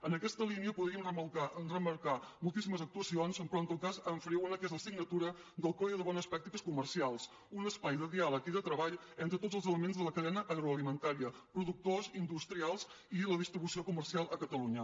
en aquesta línia podríem remarcar moltíssimes actuacions però en tot cas en faré una que és la signatura del codi de bones pràctiques co·mercials un espai de diàleg i de treball entre tots els elements de la cadena agroalimentària productors in·dustrials i la distribució comercial a catalunya